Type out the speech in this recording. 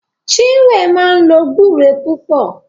Chinwe máa ń lo gbúre púpọ̀